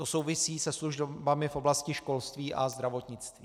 To souvisí se službami v oblasti školství a zdravotnictví.